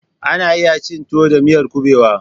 Ana iya cin tuwo da miyar kuɓewa.